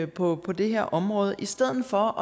på det her område i stedet for